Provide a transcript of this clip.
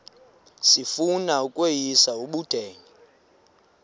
sifuna ukweyis ubudenge